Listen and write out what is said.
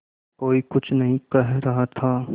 कोई कुछ नहीं कह रहा था